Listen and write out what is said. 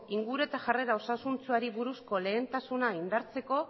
inguru eta jarrera osasuntsuari buruzko lehentasuna indartzeko